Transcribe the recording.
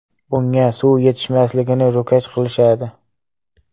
Bunga suv yetishmasligini ro‘kach qilishadi.